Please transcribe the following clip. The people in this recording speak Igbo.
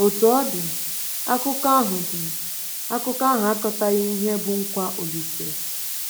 Otú ọ dị, Akụkọ ahụ dị, Akụkọ ahụ akọtaghị ihe bụ́ nkwa Olise.